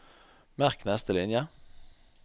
Merk neste linje